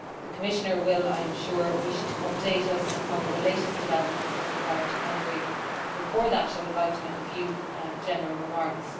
The Commissioner will I am sure wish to update us on the latest developments with regard to Hungary, but before that I would like to make a few general remarks.